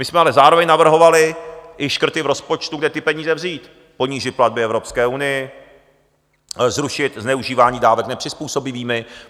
My jsme ale zároveň navrhovali i škrty v rozpočtu, kde ty peníze vzít: ponížit platby Evropské unii, zrušit zneužívání dávek nepřizpůsobivými.